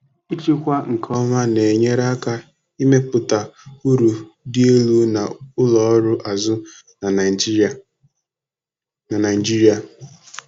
ịchịkwa nke ọma na-enyere aka ime pụta uru dị elu na ụlọ ọrụ azụ na Naijiria. na Naijiria.